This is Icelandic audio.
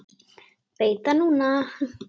Veit það núna.